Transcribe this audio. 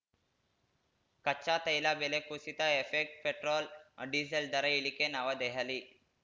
ಕಚ್ಚಾ ತೈಲ ಬೆಲೆ ಕುಸಿತ ಎಫೆಕ್ಟ್ ಪೆಟ್ರೋಲ್‌ ಡೀಸೆಲ್‌ ದರ ಇಳಿಕೆ ನವದೆಹಲಿ